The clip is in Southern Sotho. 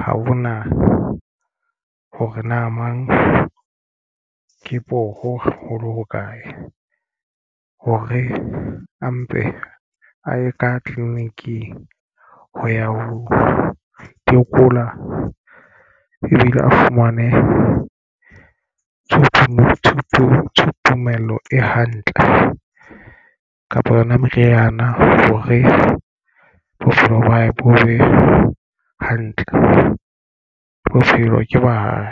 ha hona hore na mang ke poho haholo ha kae hore a mpe a ye ka tleliniking ho ya ho tokola ebile a fumane tumelo e hantle kapa yona meriana hore bophelo ba hae bo be hantle bophelo ba hae.